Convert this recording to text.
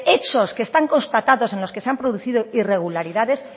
hechos que están constatados en los que se han producido irregularidades